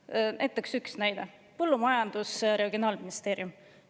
Üks näide: Regionaal- ja Põllumajandusministeerium.